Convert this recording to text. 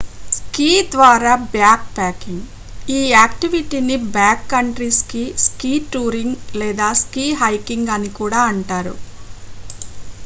ski ద్వారా backpacking ఈ యాక్టివిటీని బ్యాక్కంట్రీ స్కీ స్కీ టూరింగ్ లేదా స్కీ హైకింగ్ అని కూడా అంటారు